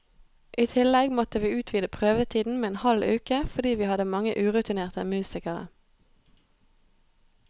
I tillegg måtte vi utvide prøvetiden med en halv uke, fordi vi hadde mange urutinerte musikere.